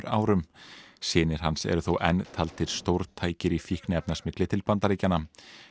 árum snir hans eru þó enn taldir stórtækir í fíkniefnasmygli til Bandaríkjanna